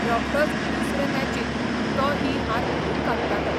रोखडोच दुसरे मॅचींत तो ही हार भरून काडटालो.